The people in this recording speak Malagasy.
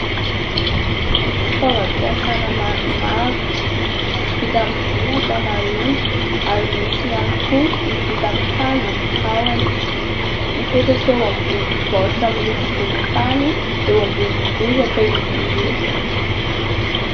Fitaovam-piasana maromaro vita amin'ny vy an- kamaroany ary misy ihany koa ny vita amin'ny hazo ny tahony, mipetraka eo ambon'ny baoritra amin'ny loko volontany eo ambon'ny bozaka izy ireo.